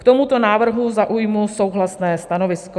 K tomuto návrhu zaujmu souhlasné stanovisko.